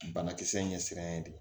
Banakisɛ in ɲɛ siranɲɛ de